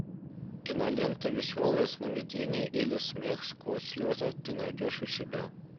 кинолента веселое сновидение или смех сквозь слезы ты найдешь у себя